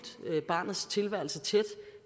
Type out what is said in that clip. barnets tilværelse